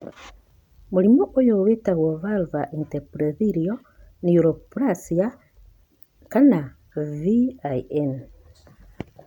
Mũrimũ ũyũ wĩtagwo vulvar intraepithelial neoplasia(VIN).